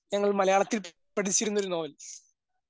ഞങ്ങൾ മലയാളത്തിൽ പഠിച്ചിരുന്നൊരു നോവൽ.